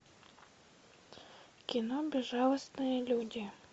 кино безжалостные люди